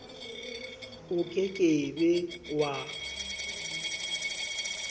o ke ke be wa